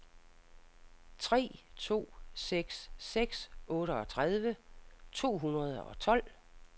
tre to seks seks otteogtredive to hundrede og tolv